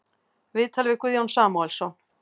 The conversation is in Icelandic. Viðtal við Guðjón Samúelsson